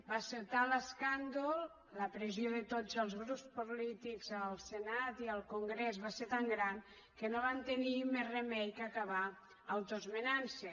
va ser tal l’escàndol la pressió de tots els grups polítics al senat i al congrés va ser tan gran que no van tenir més remei que acabar autoesmenant se